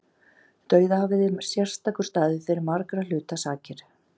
Dauðahafið er sérstakur staður fyrir margra hluta sakir.